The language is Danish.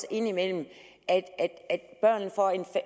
indimellem får en